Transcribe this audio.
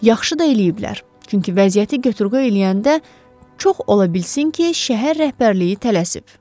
Yaxşı da eləyiblər, çünki vəziyyəti götürqoy eləyəndə çox ola bilsin ki, şəhər rəhbərliyi tələsib.